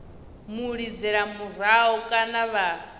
mu lidzela murahu kana vha